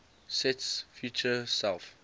sets feature self